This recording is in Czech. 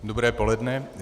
Dobré poledne.